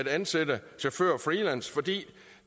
ansætte chauffører freelance fordi